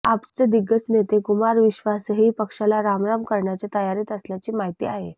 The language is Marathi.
आपचे दिग्गज नेते कुमार विश्वासही पक्षाला राम राम करण्याच्या तयारीत असल्याची माहिती आहे